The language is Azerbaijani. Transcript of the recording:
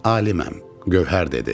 Aliməm, Gövhər dedi.